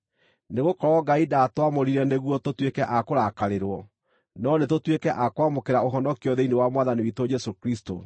Nĩgũkorwo Ngai ndaatwamũrire nĩguo tũtuĩke a kũrakarĩrwo, no nĩtũtuĩke a kwamũkĩra ũhonokio thĩinĩ wa Mwathani witũ Jesũ Kristũ.